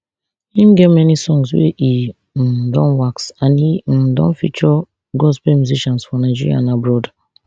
im get many songs wey e um don wax and e um don feature gospel musicians for nigeria and abroad